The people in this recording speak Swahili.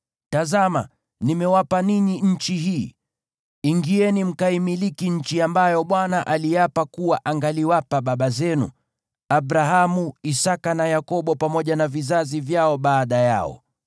Tazama, nimewapa ninyi nchi hii. Ingieni mkaimiliki nchi ambayo Bwana aliapa kuwa angaliwapa baba zenu, Abrahamu, Isaki na Yakobo, pamoja na vizazi vyao baada yao.”